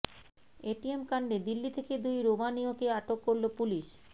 ATM কাণ্ডে দিল্লি থেকে দুই রোমানীয়কে আটক করল পুলিশ